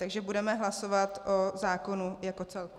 Takže budeme hlasovat o zákonu jako celku.